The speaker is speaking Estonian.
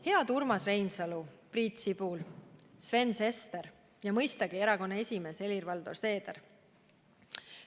Head Urmas Reinsalu, Priit Sibul, Sven Sester ja mõistagi erakonna esimees Helir-Valdor Seeder!